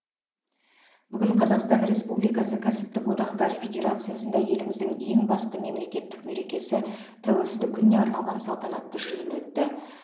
бүгін қазақстан республикасы кәсіптік одақтар федерациясында еліміздің ең басты мемлекеттік мерекесі тәуелсіздік күніне арналған салтанатты жиын өтті